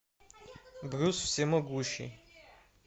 брюс всемогущий